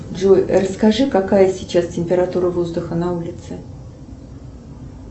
джой расскажи какая сейчас температура воздуха на улице